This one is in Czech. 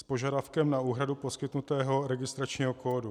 S požadavkem na úhradu poskytnutého registračního kódu.